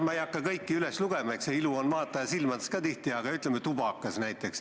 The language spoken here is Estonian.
Ma ei hakka kõiki üles lugema – eks ilu ole tihti ka vaataja silmades –, aga toon näiteks tubaka.